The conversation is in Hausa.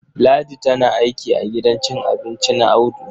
Ladi tana aiki a gidan cin abinci na Audu.